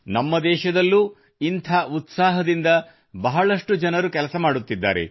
ನಮ್ಮ ದೇಶದಲ್ಲೂ ಇಂಥ ಉತ್ಸಾಹದಿಂದ ಬಹಳಷ್ಟು ಜನರು ಕೆಲಸ ಮಾಡುತ್ತಿದ್ದಾರೆ